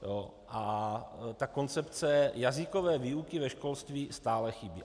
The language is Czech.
A ta koncepce jazykové výuky ve školství stále chybí.